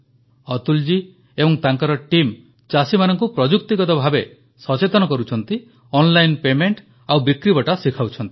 ଅତୁଲ ଜୀ ଏବଂ ତାଙ୍କର ଟିମ୍ ଚାଷୀମାନଙ୍କୁ ପ୍ରଯୁକ୍ତିଗତ ଭାବେ ସଚେତନ କରୁଛନ୍ତି ଓଏନ୍ ଲାଇନ୍ ପେମେଣ୍ଟ ଓ ବିକ୍ରିବଟା ଶିଖାଉଛନ୍ତି